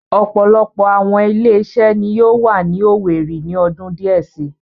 Ọ̀pọ̀lọpọ̀ àwọn ilé-iṣẹ́ ni yóò wà ní Owerri ni ọdún díẹ̀ si.